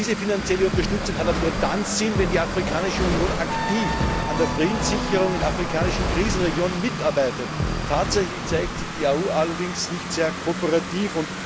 Diese finanzielle Unterstützung hat aber nur dann Sinn, wenn die Afrikanische Union aktiv an der Friedenssicherung in afrikanischen Krisenregionen mitarbeitet. Tatsächlich zeigt sich die Afrikanische Union allerdings nicht sehr kooperativ.